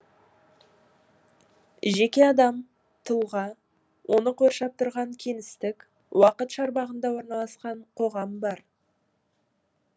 жеке адам тұлға оны қоршап тұрған кеңістік уақыт шарбағында орналасқан қоғам бар